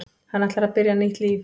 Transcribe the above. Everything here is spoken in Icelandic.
Hann ætlar að byrja nýtt líf.